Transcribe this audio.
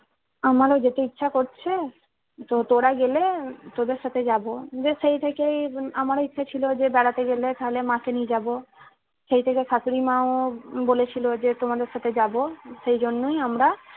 আমারো যেতে ইচ্ছা করছে তো তোরা গেলে তোদের সাথে যাবো দিয়ে সেই থেকেই আমারও ইচ্ছা ছিল যে বেড়াতে গেলে তাহলে মাকে নিয়ে যাব সেই থেকে শাশুড়িমাও বলেছিলো যে তোমাদের সাথে যাব সে জন্যই আমরা।